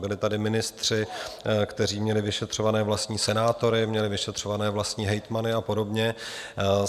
Byli tady ministři, kteří měli vyšetřované vlastní senátory, měli vyšetřované vlastní hejtmany a podobně.